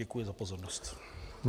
Děkuji za pozornost.